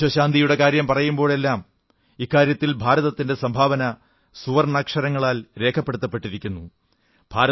വിശ്വ ശാന്തിയുടെ കാര്യം പറയുമ്പോഴെല്ലാം ഇക്കാര്യത്തിൽ ഭാരതത്തിന്റെ സംഭാവന സുവർണ്ണാക്ഷരങ്ങളിൽ രേഖപ്പെടുത്തപ്പെട്ടിരിക്കുന്നതു കാണാം